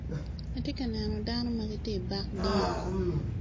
Atye ka neno dano magitye i bak dyang.